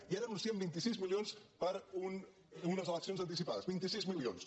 i ara anuncien vint sis milions per a unes eleccions anticipades vint sis milions